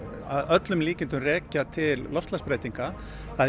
að öllum líkindum rekja til loftslagsbreytinga það